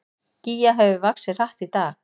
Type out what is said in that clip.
Gígja hefur vaxið hratt í dag